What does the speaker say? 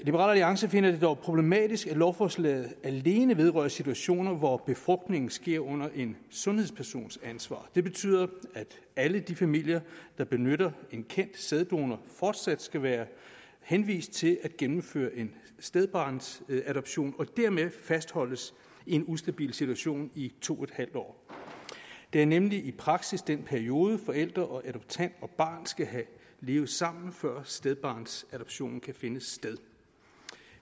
alliance finder det dog problematisk at lovforslaget alene vedrører situationer hvor befrugtningen sker under en sundhedspersons ansvar det betyder at alle de familier der benytter en kendt sæddonor fortsat skal være henvist til at gennemføre en stedbarnsadoption og dermed fastholdes i en ustabil situation i to en halv år det er nemlig i praksis den periode forælder adoptant og barn skal have levet sammen i før stedbarnsadoptionen kan finde sted